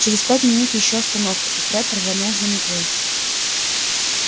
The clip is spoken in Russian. через пять минут ещё остановка и фред рванул за метлой